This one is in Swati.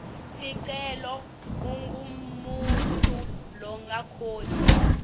sicelo ungumuntfu longakhoni